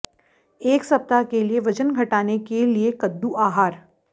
एक सप्ताह के लिए वजन घटाने के लिए कद्दू आहार